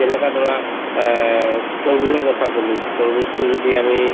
যেনেকা ধৰা অ তৰমুজৰ কথা কলো তৰমুজতো যদি আমি